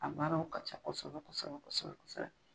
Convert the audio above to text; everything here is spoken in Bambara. A baaraw ka ca kosɛbɛ kosɛbɛ kosɛbɛ kosɛbɛ.